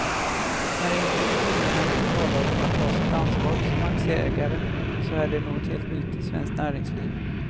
När institutionerna nu talar om att ta sitt ansvar som aktieägare så är det något helt nytt i svenskt näringsliv.